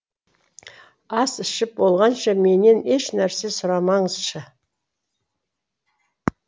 ас ішіп болғанша менен ешнәрсе сұрамаңызшы